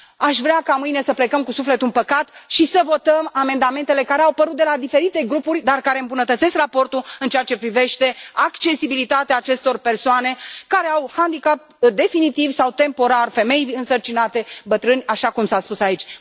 Aș vrea ca mâine să plecăm cu sufletul împăcat și să votăm amendamentele care au apărut de la diferite grupuri, dar care îmbunătățesc raportul în ceea ce privește accesibilitatea pentru aceste persoane care au handicap definitiv sau temporar, femei însărcinate, bătrâni, așa cum s a spus aici.